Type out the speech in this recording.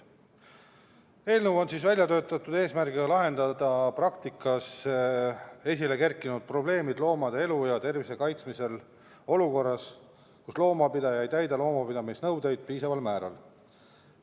Eelnõu on välja töötatud eesmärgiga lahendada praktikas esilekerkinud probleemid loomade elu ja tervise kaitsmisel olukorras, kus loomapidaja ei täida loomapidamisnõudeid piisaval määral.